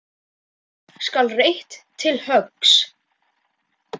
Nú skal reitt til höggs.